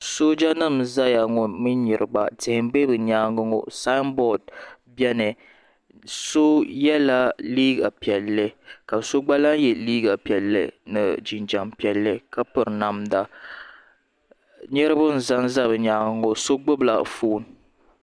Sooja nima n zaya ŋɔ mini niriba tihi m be bɛ nyaanga ŋɔ samboori biɛni so yela liiga piɛlli ka so gba lahi ye liiga piɛlli ni jinjiɛm piɛlli ka piri namda niriba n zanza bɛ nyaanga ŋɔ so gbibi la fooni.